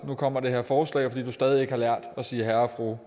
nu kommer det her forslag fordi du stadig væk ikke har lært at sige herre og fru